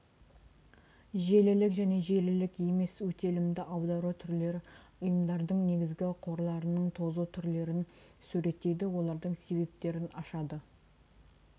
желілік және желілік емес өтелімді аудару түрлері ұйымдардың негізгі қорларының тозу түрлерін суреттейді олардың себептерін ашады